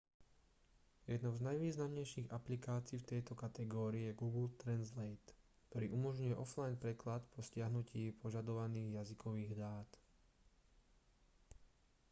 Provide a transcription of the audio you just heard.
jednou z najvýznamnejších aplikácií v tejto kategórii je google translate ktorý umožňuje offline preklad po stiahnutí požadovaných jazykových dát